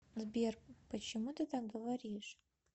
сбер почему ты так говоришь